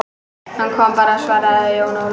Hann kom bara, svaraði Jón Ólafur.